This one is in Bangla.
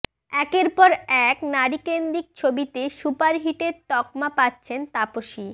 একের পর এক নারীকেন্দ্রিক ছবিতে সুপারহিটের তকমা পাচ্ছেন তাপসী